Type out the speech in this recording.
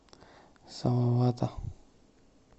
салавата